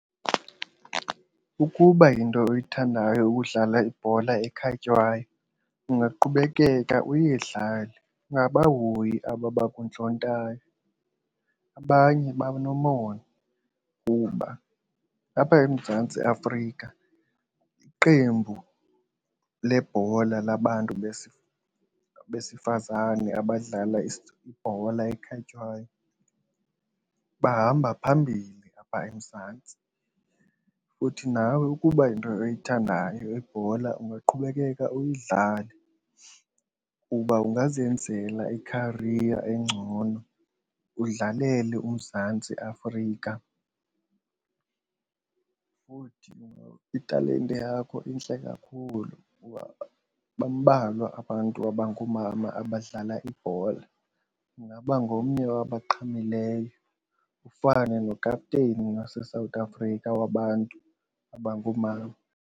Ukuba yinto oyithandayo kudlala ibhola ekhatywayo ungaqhubekeka uyidlale angabahoyi aba abakuntlontayo. Abanye banomona kuba apha eMzantsi Afrika iqembu lebhola labantu besifazane abadlala ibhola ekhatywayo bahamba phambili apha eMzantsi. Futhi nawe ukuba yinto oyithandayo ibhola ungaqhubekeka uyidlale kuba ungazenzela ikhariya engcono udlalele uMzantsi Afrika. Futhi italente yakho intle kakhulu kuba bambalwa abantu abangoomama abadlala ibhola ungaba ngomnye wabaqhamileyo ufane nokapteyini waseSouth Africa wabantu abangoomama.